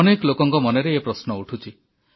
ଅନେକ ଲୋକଙ୍କ ମନରେ ଏ ପ୍ରଶ୍ନ ଉଠୁଛି